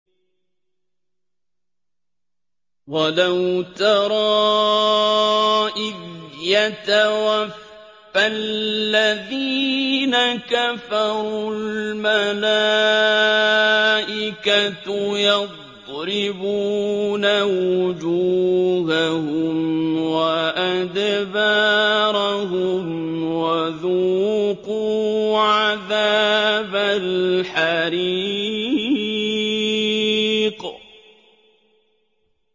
وَلَوْ تَرَىٰ إِذْ يَتَوَفَّى الَّذِينَ كَفَرُوا ۙ الْمَلَائِكَةُ يَضْرِبُونَ وُجُوهَهُمْ وَأَدْبَارَهُمْ وَذُوقُوا عَذَابَ الْحَرِيقِ